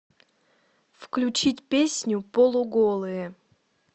включить песню полуголые